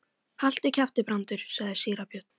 Haltu kjafti, Brandur, sagði síra Björn.